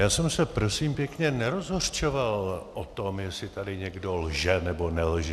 Já jsem se prosím pěkně nerozhořčoval o tom, jestli tady někdo lže, nebo nelže.